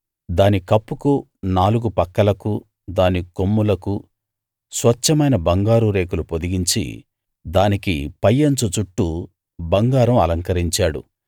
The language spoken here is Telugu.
దాని కప్పుకు నాలుగు పక్కలకు దాని కొమ్ములకు స్వచ్ఛమైన బంగారు రేకులు పొదిగించి దానికి పై అంచు చుట్టూ బంగారం అలంకరించాడు